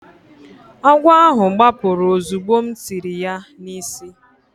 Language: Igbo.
Agwọ ahụ gbapụrụ ozugbo m tiri ya n’isi.